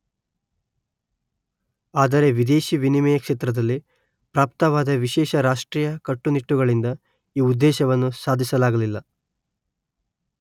ಆದರೆ ವಿದೇಶಿ ವಿನಿಮಯ ಕ್ಷೇತ್ರದಲ್ಲಿ ಪ್ರಾಪ್ತವಾದ ವಿಶೇಷ ರಾಷ್ಟ್ರೀಯ ಕಟ್ಟುನಿಟ್ಟುಗಳಿಂದ ಈ ಉದ್ದೇಶವನ್ನು ಸಾಧಿಸಲಾಗಲಿಲ್ಲ